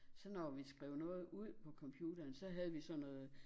Så når vi skrev noget ud på computeren så havde vi sådan noget